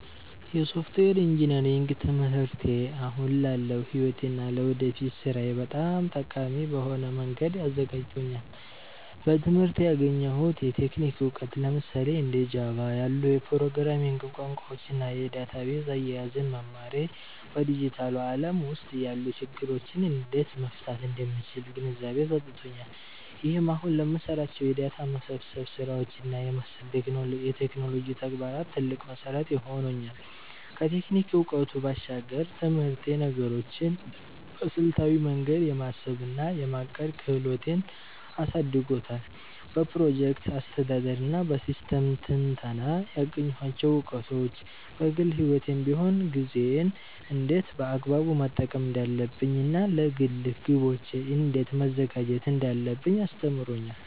የሶፍትዌር ኢንጂነሪንግ ትምህርቴ አሁን ላለው ሕይወቴ እና ለወደፊት ሥራዬ በጣም ጠቃሚ በሆነ መንገድ አዘጋጅቶኛል። በትምህርቴ ያገኘሁት የቴክኒክ እውቀት፣ ለምሳሌ እንደ ጃቫ (Java) ያሉ የፕሮግራሚንግ ቋንቋዎችን እና የዳታቤዝ አያያዝን መማሬ፣ በዲጂታሉ ዓለም ውስጥ ያሉ ችግሮችን እንዴት መፍታት እንደምችል ግንዛቤ ሰጥቶኛል። ይህም አሁን ለምሰራቸው የዳታ መሰብሰብ ስራዎች እና መሰል የቴክኖሎጂ ተግባራት ትልቅ መሠረት ሆኖኛል። ከቴክኒክ እውቀቱ ባሻገር፣ ትምህርቴ ነገሮችን በስልታዊ መንገድ የማሰብ እና የማቀድ ክህሎቴን አሳድጎታል። በፕሮጀክት አስተዳደር እና በሲስተም ትንተና ያገኘኋቸው እውቀቶች፣ በግል ሕይወቴም ቢሆን ጊዜዬን እንዴት በአግባቡ መጠቀም እንዳለብኝ እና ለግል ግቦቼ እንዴት መዘጋጀት እንዳለብኝ አስተምሮኛል።